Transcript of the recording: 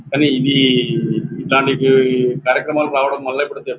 కానీ ఇవీ ఇట్లాంటి కార్యక్రమాలు రావడం వల్ల